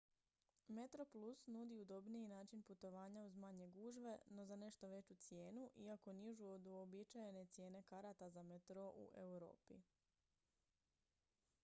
metroplus nudi udobniji način putovanja uz manje gužve no za nešto veću cijenu iako nižu od uobičajene cijene karata za metro u europi